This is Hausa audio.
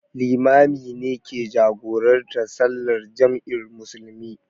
Limami ne ke jagorantar sallar jam'in musulmi.